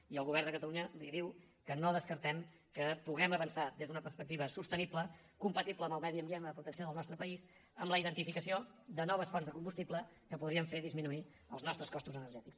i el govern de catalunya li diu que no descartem que puguem avançar des d’una perspectiva sostenible compatible amb el medi ambient en la protecció del nostre país amb la identificació de noves fonts de combustible que podrien fer disminuir els nostres costos energètics